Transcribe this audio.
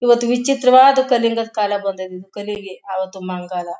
ಇವತ್ ವಿಚಿತ್ರವಾದ್ ಕಳಿಂಗಾದ್ ಕಾಲ ಬಂದೈತೆ